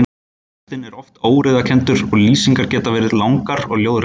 Textinn er oft óreiðukenndur og lýsingar geta verið langar og ljóðrænar.